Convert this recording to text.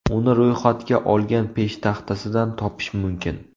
Uni ro‘yxatga olish peshtaxtasidan topish mumkin.